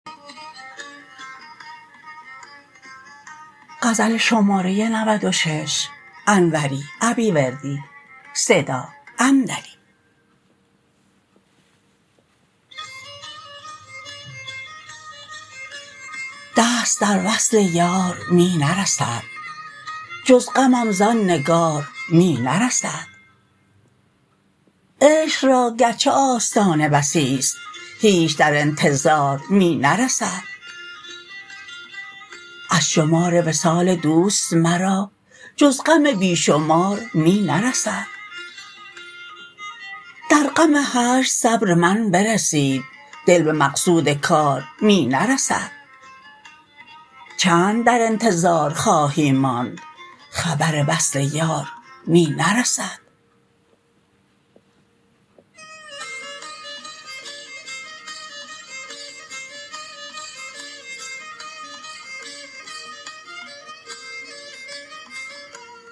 دست در وصل یار می نرسد جز غمم زان نگار می نرسد عشق را گرچه آستانه بسیست هیچ در انتظار می نرسد از شمار وصال دوست مرا جز غم بی شمار می نرسد در غم هجر صبر من برسید دل به مقصود کار می نرسد چند در انتظار خواهی ماند خبر وصل یار می نرسد